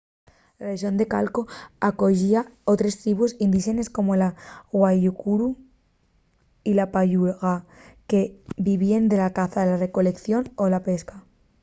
la rexón de chaco acoyía otres tribus indíxenes como la guaycurú y la payaguá que vivíen de la caza la recoleición y la pesca